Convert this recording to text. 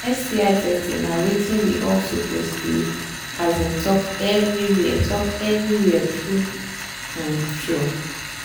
sti testing na watin we all suppose they um talk everywhere talk everywhere true um true